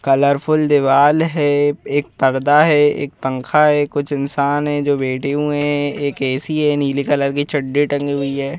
Colourful दीवार है एक पर्दा है एक पंखा है कुछ इंसान है जो बैठे हुए हैं एक ऐसी है नीले कलर के चड्डी टंगी हुई है।